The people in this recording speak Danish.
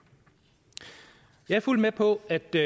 jeg er fuldt med på at det